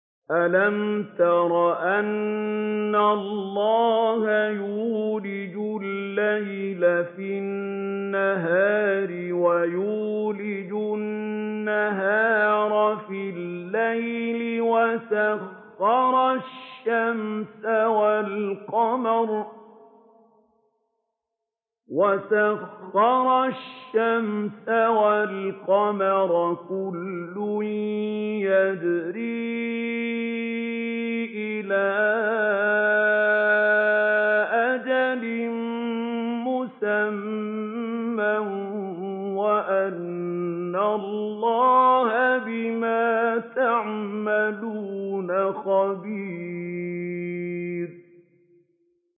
أَلَمْ تَرَ أَنَّ اللَّهَ يُولِجُ اللَّيْلَ فِي النَّهَارِ وَيُولِجُ النَّهَارَ فِي اللَّيْلِ وَسَخَّرَ الشَّمْسَ وَالْقَمَرَ كُلٌّ يَجْرِي إِلَىٰ أَجَلٍ مُّسَمًّى وَأَنَّ اللَّهَ بِمَا تَعْمَلُونَ خَبِيرٌ